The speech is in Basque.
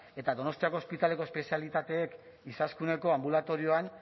eta donostiako ospitaleko espezialitateek izaskuneko anbulatorioan